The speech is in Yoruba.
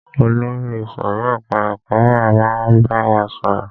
Olórí ìsòrí ẹka ẹ̀kọ́ wa máa wá bá wa sọ̀rọ̀.